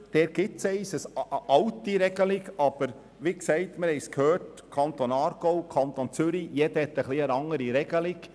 In der Westschweiz besteht eine alte Regelung, aber wie gesagt wurde, haben die Kantone – wie zum Beispiel Aargau und Zürich – alle etwas andere Regelungen.